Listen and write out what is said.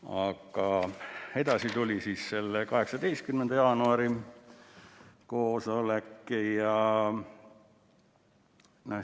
Aga edasi tuli 18. jaanuari koosolek.